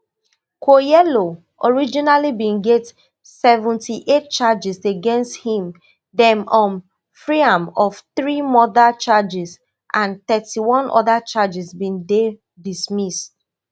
kwoyelo originally bin get seventy-eight charges against him dem um free am of three murder charges and thirty-one oda charges bin dey dismissed